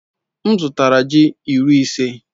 M zụtara ji iri ise.